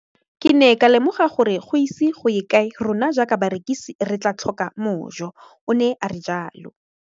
Ke ne ka lemoga gore go ise go ye kae rona jaaka barekise re tla tlhoka mojo, o ne a re jalo.